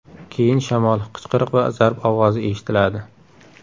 Keyin shamol, qichqiriq va zarb ovozi eshitiladi.